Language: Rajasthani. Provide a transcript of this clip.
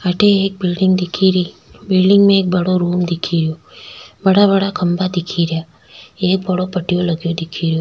अठे एक बिल्डिंग दिखेरी बिल्डिंग में एक बड़ो रूम दिखेरयो बड़ा बड़ा खम्भा दिखेरिया एक बड़ाे पटियाे लगयो दिखेरयो।